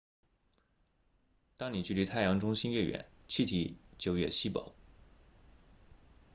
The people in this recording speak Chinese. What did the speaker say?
当你距离太阳中心越远气体就越稀薄